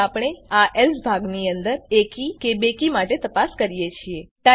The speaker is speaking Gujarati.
તેથી આપણે આ એલ્સ ભાગની અંદર એકી કે બેકી માટે તપાસ કરીએ છીએ